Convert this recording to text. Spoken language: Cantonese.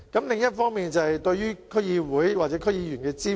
另一方面是對區議會或區議員的支援。